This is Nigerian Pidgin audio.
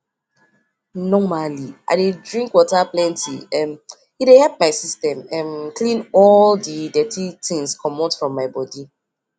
normally i dey drink water plenty um e dey help my system um clean all di dirty things commot from my body